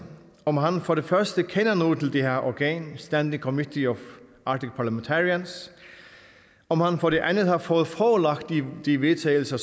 om han for det første kender noget til det her organ the standing committee of arctic parliamentarians om han for det andet har fået forelagt de vedtagelser